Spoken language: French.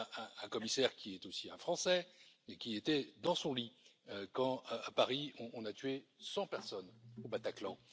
parlez à un commissaire qui est aussi un Français, et qui était dans son lit, quand, à Paris, on a tué 100 personnes au Bataclan.